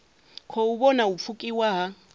khou vhona u pfukiwa ha